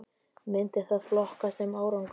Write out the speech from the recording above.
Myndi það flokkast sem árangur??